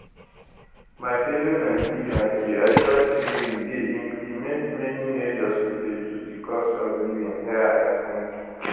my fellow nigerians be assured say we dey implement many measures to reduce di cost of living here at home